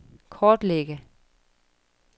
kortlægge